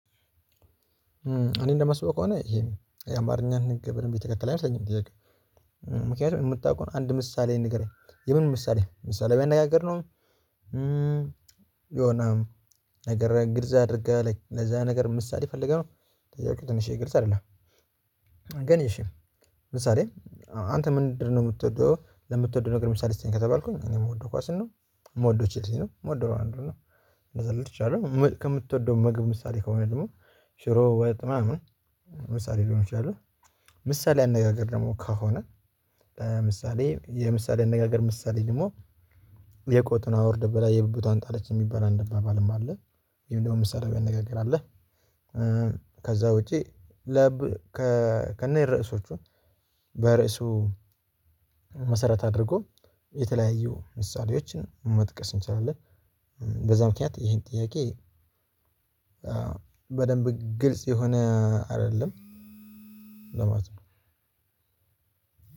እኔ እንደማስበው ከሆነ ይሄ አማርኛን ህግ በደንብ የተከተለ አይመስለኝም ጥያቄው እ ምክንያቱም የምታውቀውን አንድ ምሳሌ ንገረኝ የምን ምሳሌ ምሳሌያዊ አነጋገር ነው እ የሆነ ነገር ግልጽ አድርገህ ለዛ ነገር ምሳሌ ፈልገህ ነው ጥያቄው ትንሽዬ ግልጽ አይደለም። ግን እሺ ምሳሌ አንተ ምንድነው የምትወደው ለምትወደው ነገር ምሳሌ ስጠኝ ከተባልኩኝ እኔ የምወደው ኳስን ነው። የምወደው ቼልሲ ነው የምወደው አንዱን ነው። እንደዛ ማለት ይቻላል ከምትወደው ምግብ ምሳሌ ከሆነ ደግሞ ሽሮ ወጥ ምናምን እ ምሳሌ ሊሆን ይችላል። ምሳሌ አነጋገር ደግሞ ከሆነ እ ምሳሌ የምሳሌ አነጋገር ምሳሌ ደግሞ የቆጡን አወርድ ብላ የብብቷን ጣለች የሚባል አንድ አባባልም አለ። እንዲሁም ደግሞ ምሳሌያዊ አነጋገርም አለ። ከዛ ውጭ ለብ ከነርእሶቹ በርዕሱ መሰረት አድርጎ የተለያዩ ምሳሌዎችን መጥቀስ እንችላለን። እ በዛ ምክንያት ይሄን ጥያቄ በደንብ ግልጽ የሆነ አይደለም ለማለት ነው።